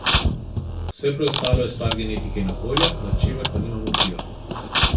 Vse preostalo je stvar genetike in okolja, nad čemer pa nimamo vpliva.